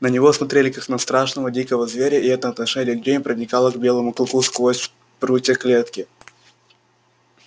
на него смотрели как на страшного дикого зверя и это отношение людей проникало к белому клыку сквозь прутья клетки